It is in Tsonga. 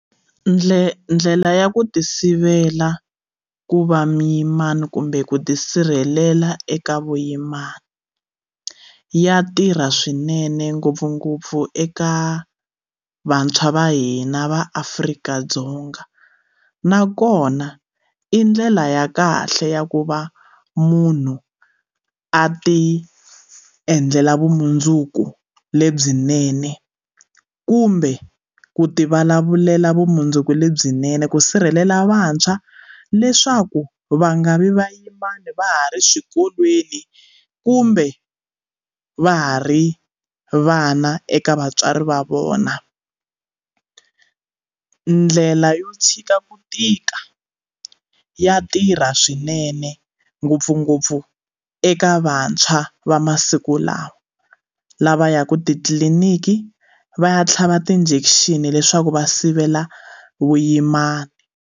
Ndle ndlela ya ku ti sivela ku va muyimana kumbe ku tisirhelela eka vuyimana ya tirha swinene ngopfungopfu eka vantshwa va hina va Afrika-Dzonga nakona i ndlela ya kahle ya ku va munhu a ti endlela vumundzuku lebyinene kumbe ku ti vulavulela vumundzuku lebyinene ku sirhelela vantshwa leswaku va nga vi vayimana va ha ri swikolweni kumbe va ha ri vana eka vatswari va vona ndlela yo tshika ku tika ya tirha swinene ngopfungopfu eka vantshwa va masiku lawa lava ya ku titliliniki va ya tlhava ti-injection leswaku va sivela vuyimana.